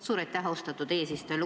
Suur aitäh, austatud eesistuja!